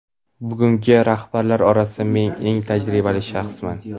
Bugungi rahbarlar orasida men eng tajribali shaxsman.